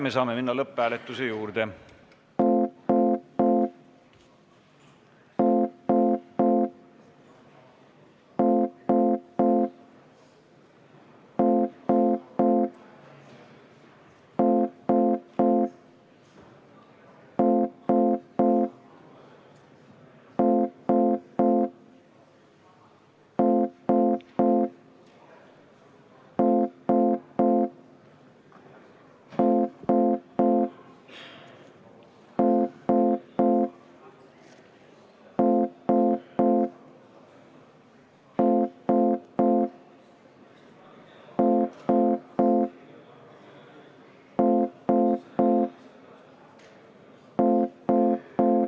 Me saame minna lõpphääletuse juurde.